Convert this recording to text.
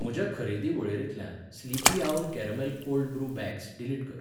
म्हज्या खरेदी वळेरेंतल्यान Sleepy Owl caramel cold brew bags, delete कर.